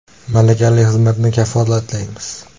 Malakali xizmatni kafolatlaymiz!.